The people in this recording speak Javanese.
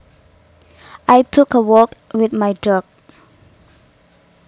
I took a walk with my dog